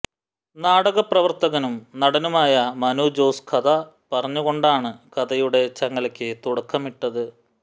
നാടക പ്രവർത്തകനും നടനുമായ മനു ജോസ് കഥ പറഞ്ഞുകൊണ്ടാണ് കഥയുടെ ചങ്ങലയ്ക്ക് തുടക്കമിട്ടത്